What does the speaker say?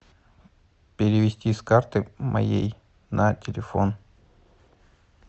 перевести с карты моей на телефон